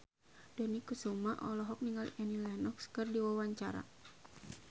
Dony Kesuma olohok ningali Annie Lenox keur diwawancara